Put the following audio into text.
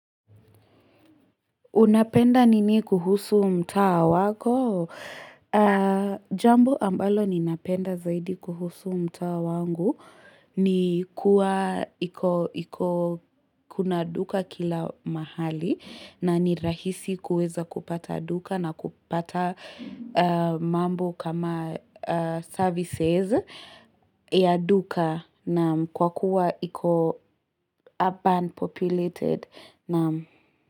Unapenda nini kuhusu mtaa wako? Jambo ambalo ninapenda zaidi kuhusu mtaa wangu ni kuwa iko kuna duka kila mahali na nirahisi kuweza kupata duka na kupata mambo kama services ya duka na kwa kuwa iko urban populated.